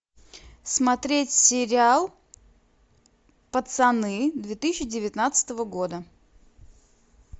смотреть сериал пацаны две тысячи девятнадцатого года